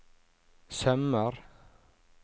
sømmer